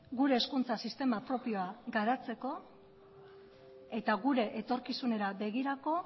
gure hezkuntza sistema propioa garatzeko eta gure etorkizunera begirako